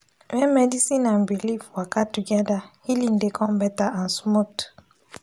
when medicine and belief waka together healing dey come better and smooth.